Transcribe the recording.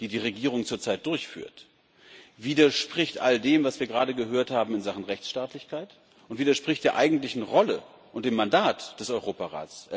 die die Regierung zurzeit durchführt, widerspricht all dem, was wir gerade in Sachen Rechtsstaatlichkeit gehört haben, und widerspricht der eigentlichen Rolle und dem Mandat des Europarats.